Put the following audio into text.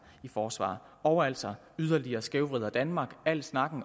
i forsvar og altså yderligere skævvrider danmark al snak